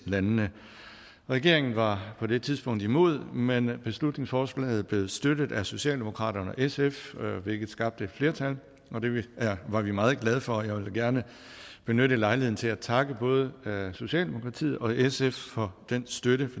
landene regeringen var på det tidspunkt imod men beslutningsforslaget blev støttet af socialdemokraterne og sf hvilket skabte et flertal det var vi meget glade for og jeg vil da gerne benytte lejligheden til at takke både socialdemokratiet og sf for den støtte